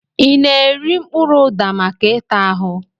I na-eri mkpụrụ ụda maka ịta ahụ?